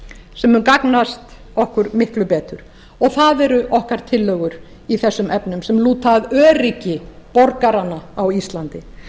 sem mun gagnast okkur miklu betur það eru okkar tillögur í þessum efnum sem lúta að öryggi borgaranna á íslandi